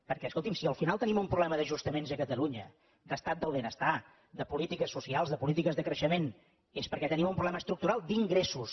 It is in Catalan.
perquè escolti’m si al final tenim un problema d’ajustaments a catalunya d’estat del benestar de polítiques socials de polítiques de creixement és perquè tenim un problema estructural d’ingressos